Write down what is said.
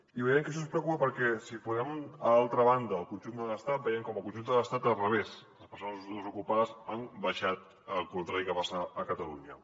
i veiem que això ens preocupa perquè si posem a l’altra banda el conjunt de l’estat veiem com al conjunt de l’estat a l’inrevés les persones desocupades han baixat al contrari del que passa a catalunya